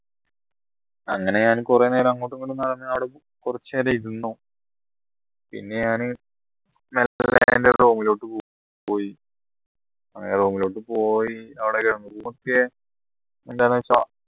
അങ്ങനെ ഞാൻ കുറെ നേരം അങ്ങോട്ടുമിങ്ങോട്ടും നടന്നു അവിടെ കുറച്ച് നേരം ഇരുന്നു പിന്നെ ഞാന് പോയി അങ്ങനെ room ലോട്ടു പോയി അവിടെ ഒരു എന്താണ്